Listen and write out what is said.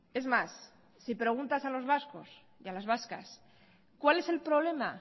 es más si preguntas a los vascos y a las vascas cuál es el problema